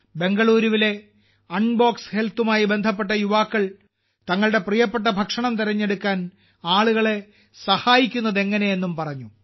ബെംഗളൂരുവിലെ unbox ഹെൽത്തുമായി ബന്ധപ്പെട്ട യുവാക്കൾ തങ്ങളുടെ പ്രിയപ്പെട്ട ഭക്ഷണക്രമം തിരഞ്ഞെടുക്കാൻ ആളുകളെ സഹായിക്കുന്നതെങ്ങനെയെന്നും പറഞ്ഞു